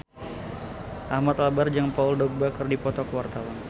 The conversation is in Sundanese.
Ahmad Albar jeung Paul Dogba keur dipoto ku wartawan